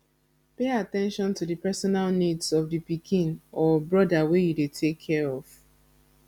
pay at ten tion to di personal needs of di pikin or broda wey you dey take care of